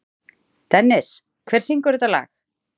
Dennis, hver syngur þetta lag?